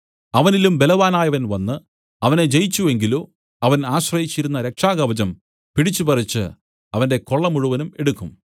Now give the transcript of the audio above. അവനിലും ബലവാനായവൻ വന്നു അവനെ ജയിച്ചു എങ്കിലോ അവൻ ആശ്രയിച്ചിരുന്ന രക്ഷാകവചം പിടിച്ചുപറിച്ചു അവന്റെ കൊള്ള മുഴുവനും എടുക്കും